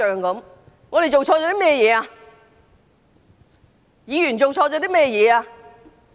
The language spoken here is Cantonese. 究竟我們議員做錯了甚麼？